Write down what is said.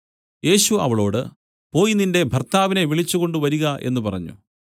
യേശു അവളോട് പോയി നിന്റെ ഭർത്താവിനെ വിളിച്ചുകൊണ്ടുവരിക എന്നു പറഞ്ഞു